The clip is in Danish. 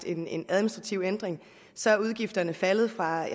en en administrativ ændring så er udgifterne faldet fra